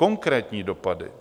Konkrétní dopady